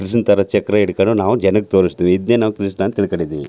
ಕೃಷ್ಣನ್ ತರ ಚಕ್ರ ಹಿಡಕೊಂಡ್ ನಾವು ಜನಕ್ ತೋರ್ಸತ್ತೀವಿ ಇದ್ನೇ ನಾವು ಕೃಷ್ಣನ್ ಅಂತ ತಿಳಕೊಂಡಿದೀವಿ.